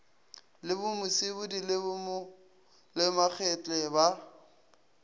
le musibudi le bomakgetle ba